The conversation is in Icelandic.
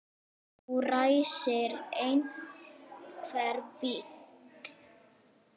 Nú ræsir einhver bíl.